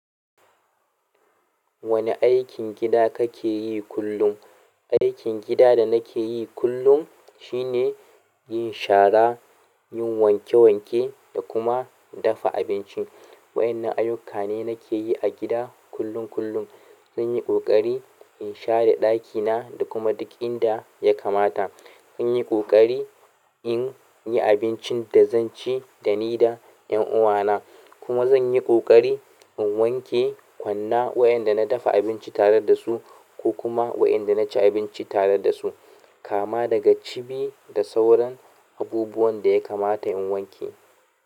Wani aikin gida kake yi kullum? Aikin gida da nake yi kullum shine yin shara, yin wanke wanke da kuma dafa abinci. Wa'innan ayyuka ne da nake yi a gida kullum kullum zan yi ƙoƙari in share ɗakina da kuma duk inda ya kamata. Zan yi ƙoƙari in yi abincin da zan ci da ni da ƴan uwana. Kuma zan yi ƙoƙari in wanke kwanna waɗanda na dafa abinci tare da su ko kuma waɗanda na ci abinci tare da su. Kama daga cibi da sauran abubuwan da ya kamata in wanke.